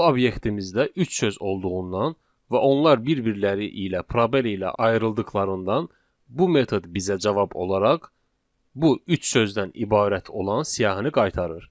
Bu obyektimizdə üç söz olduğundan və onlar bir-birləri ilə probel ilə ayrıldıqlarından, bu metod bizə cavab olaraq bu üç sözdən ibarət olan siyahını qaytarır.